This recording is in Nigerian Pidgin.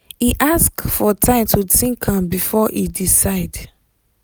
e ask for time to think am before e decide